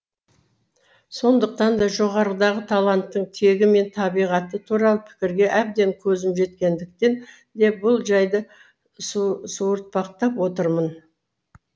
сондықтан да жоғарыдағы таланттың тегі мен табиғаты туралы пікірге әбден көзім жеткендіктен де бұл жайды суыртпақтап отырмын